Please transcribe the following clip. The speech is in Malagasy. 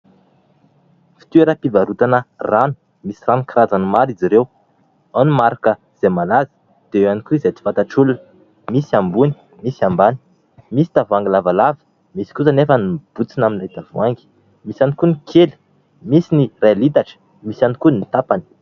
Fitoeram-pivarotana rano. Misy rano karazany maro izy ireo : ao ny marika izay malaza, dia eo ihany koa izay tsy fantatr'olona. Misy ambony, misy ambany, misy tavoahangy lavalava, misy kosa anefa ny mibontsina amin'ilay tavoahangy. Misy ihany koa ny kely, misy ny iray litatra, misy ihany koa ny tapany.